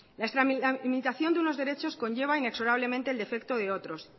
la tramitación de los derechos conlleva inexorablemente el defecto de otros